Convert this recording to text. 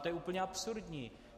To je úplně absurdní.